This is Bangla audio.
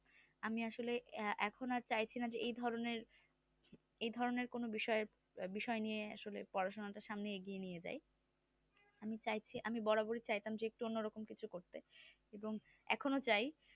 আমি আসলে এখন আর চাইছি না যে এই ধরণের এই ধরণের কোনো বিষয় নিয়ে আসলে পড়াশোনাটা সামনে এগিয়ে নিয়ে যাই আমি চাইছি আমি বরাবরই চাইতাম যে একটু অন্যরকম কিছু করতে এবং এখনো চাই